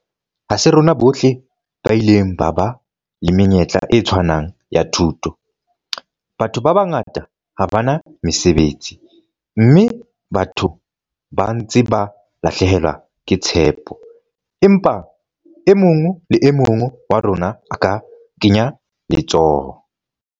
Ha se rona bohle ba ileng ba ba le menyetla e tshwanang ya thuto, batho ba bangata ha ba na mesebetsi, mme batho ba ntse ba lahlehelwa ke tshepo, empa e mong le e mong wa rona a ka kenya letsoho.